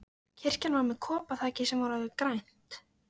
Kirkjan var með koparþaki sem var orðið grænt.